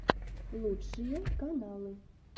лучшие каналы